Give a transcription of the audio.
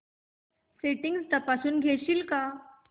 settings तपासून घेशील का